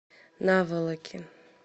наволоки